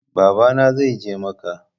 Baba na zai je macca